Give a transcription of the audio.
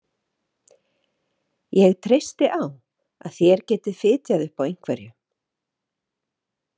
Ég treysti á að þér getið fitjað upp á einhverju.